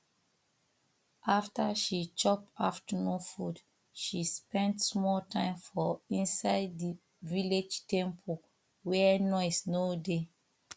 after she chop afternoon food she spend small time for inside the village temple wey noise no dey